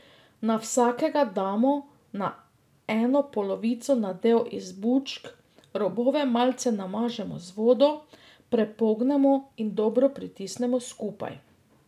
Na vsakega damo na eno polovico nadev iz bučk, robove malce namažemo z vodo, prepognemo in dobro pritisnemo skupaj.